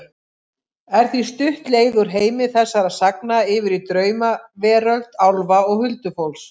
Er því stutt leið úr heimi þessara sagna yfir í draumaveröld álfa og huldufólks.